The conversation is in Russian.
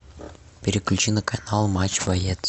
переключи на канал матч боец